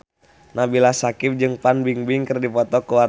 Nabila Syakieb jeung Fan Bingbing keur dipoto ku wartawan